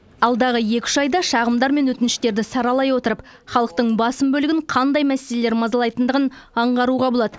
алдағы екі үш айда шағымдар мен өтініштерді саралай отырып халықтың басым бөлігін қандай мәселелер мазалайтындығын аңғаруға болады